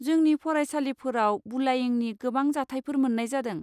जोंनि फरायसालिफोराव बुलायिंनि गोबां जाथायफोर मोन्नाय जादों।